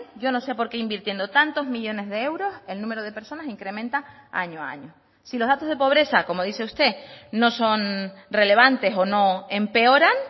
yo no sé por qué invirtiendo tantos millónes de euros el número de personas incrementa año a año si los datos de pobreza como dice usted no son relevantes o no empeoran